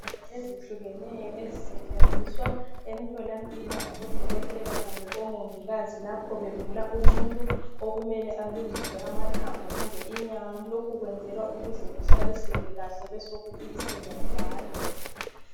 Ezihlukeneyo ezisetshenziswa emtholampilo ngabodokotela kumbe omongikazi lapho bevula umuntu okumele alungiswe amathambo kumbe inyama. Lokhu kwenzelwa ukuze kuhlaliseke kahle besokubiselwa njalo.